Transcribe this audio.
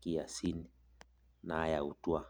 kiasin nayautua